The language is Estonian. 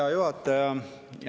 Hea juhataja!